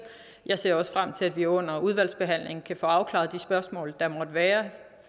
jeg ser også frem til at vi under udvalgsbehandlingen kan få afklaret de spørgsmål der måtte være